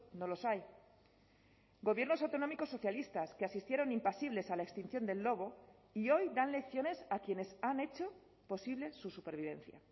no los hay gobiernos autonómicos socialistas que asistieron impasibles a la extinción del lobo y hoy dan lecciones a quienes han hecho posible su supervivencia